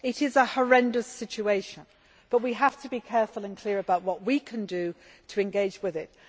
It is a horrendous situation, but we have to be careful and clear about what we can do to engage with it.